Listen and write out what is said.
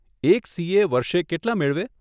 એક સીએ વર્ષે કેટલાં મેળવે?